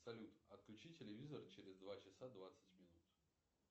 салют отключи телевизор через два часа двадцать минут